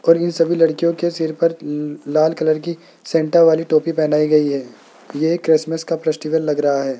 और इन सभी लड़कियों के सिर पर ल्ल लाल कलर की सेंटा वाली टोपी पहनाई गई है यह क्रिसमस का फेस्टिवल लग रहा है।